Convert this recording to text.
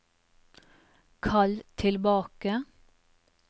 kall tilbake